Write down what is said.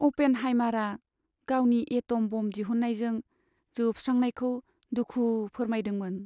अ'पेनहाइमारआ गावनि atom bomb दिहुन्नायजों जोबस्रांनायखौ दुखु फोरमायदों।